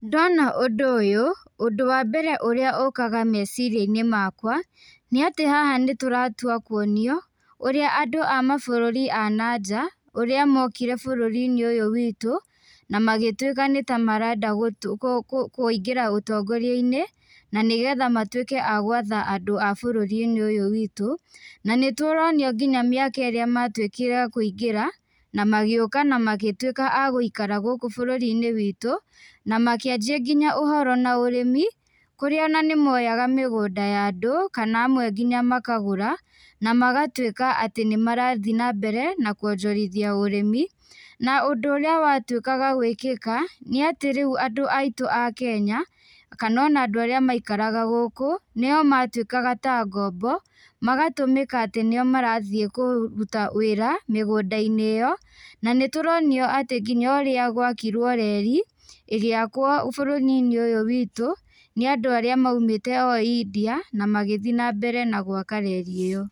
Ndona ũndũ ũyũ, ũndũ wa mbere ũrĩa ũkaga meciriainĩ makwa, nĩatĩ haha nĩtũratua kuonio, ũrĩa andũ a mabũrũri a nanja, ũrĩa mokire bũrũriinĩ ũyũ witũ, na magĩtuĩka nĩtamarenda gũ kũ kũ kũingĩra ũtongoriainĩ, na nĩgetha matuĩke a gwatha andũ a bũrũrinĩ ũyũ witũ, na nĩtũronio nginya mĩaka ĩra matuĩkire a kũingĩra, na magĩũka na magĩtuĩka a gũikara gũkũ bũrũriinĩ witũ, namakĩanjia nginya ũhoro na ũrĩmi, kũrĩa ona nĩmoyaga mĩgũnda ya andũ, kana amwe nginya makagũra, na magatuĩka atĩ nĩmarathiĩ nambere na kuonjorithia ũrĩmi, na ũndũ ũrĩa watuĩkaga gwĩkĩka, nĩ atĩ rĩũ andũ aitũ a Kenya, kana ona andũ arĩa maikaraga gũkũ, nio matuĩkaga ta ngombo, magatũmĩka atĩ nio marathiĩ kuruta wĩra mĩgũndainĩ ĩyo, na nĩtũronio atĩ nginya ũrĩa gwakirwo reri, ĩgĩakwo bũrũrinĩ ũyũ witũ, nĩandũ arĩa maumĩte o India na magĩthĩi nambere na gwaka reri ĩyo.